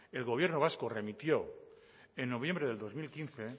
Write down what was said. el gobierno vasco remitió en noviembre de dos mil quince